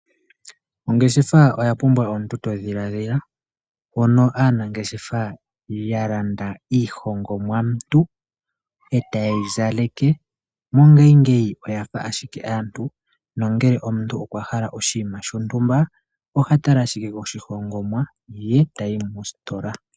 Ongeshefa oya pumbwa omntu todhiladhila, mono aanangeshefa ya landa iihongomwantu etaye yi zaleke mongashingeyi oyafa ashike aantu nongele omuntu okwa hala oshinima shontumba oha tala ashike koshihongomwa ye etayi mositola.